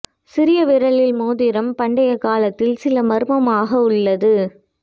சிறிய விரலில் மோதிரம் பண்டைய காலத்தில் சில மர்மமாக உள்ளது